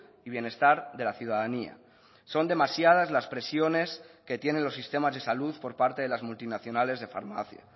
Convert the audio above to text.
y bienestar de la ciudadanía son demasiadas las presiones que tienen los sistemas de salud por parte de las multinacionales de farmacia